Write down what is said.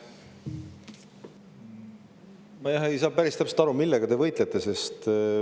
Ma ei saa päris täpselt aru, millega te võitlete.